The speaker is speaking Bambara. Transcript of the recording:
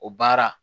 O baara